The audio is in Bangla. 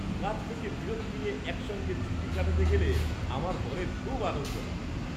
কাজ থেকে বিরতি নিয়ে একসঙ্গে ছুটি কাটাতে গেলে আমার দলের খুব আনন্দ হয়।